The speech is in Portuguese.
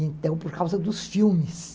Então, por causa dos filmes.